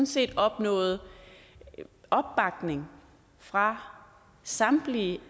set opnåede opbakning fra samtlige